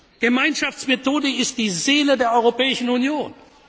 Die Gemeinschaftsmethode ist die Seele der Europäischen Union!